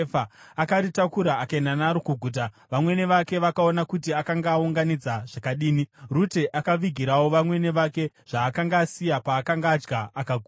Akaritakura akaenda naro kuguta, vamwene vake vakaona kuti akanga aunganidza zvakadini. Rute akavigirawo vamwene vake zvaakanga asiya paakanga adya akaguta.